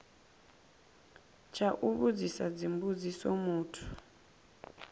tsha u vhudzisa dzimbudziso muthu